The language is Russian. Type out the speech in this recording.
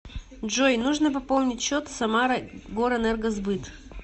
джой нужно пополнить счет самара горэнергосбыт